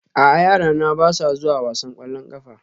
A'a yarana ba sa zuwa wasan ƙwallon ƙafa